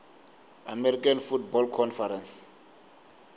american football conference